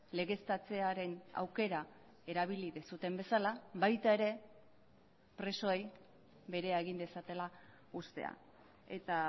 legeztatzearen aukera erabili duzuen bezala baita ere presoei berea egin dezatela uztea eta